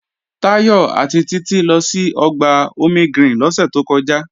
Táyọ̀ àti Títí lọ sí Ọgbà Omegreen lọ́sẹ̀ tó kọjá